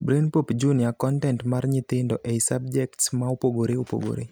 Brainpop Jr. Kontent mar nyithindo ei subjekts maopogore opogore.